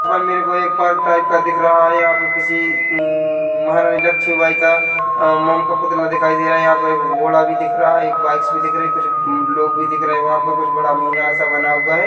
मेरको एक park type का दिख रहा है यहाँ पे किसी हम्म महारानी लक्ष्मी बाई का अ मोम का पुतला दिखाई दे रहा यहाँ पे एक घोडा भी दिख रहा है एक बाइक्स भी दिख रही है कुछ लोग भी दिख रहे है वहाँ पर कुछ बड़ा मीनार सा बना हुआ है।